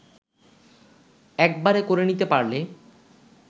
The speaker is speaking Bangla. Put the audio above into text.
একবারে করে নিতে পারলে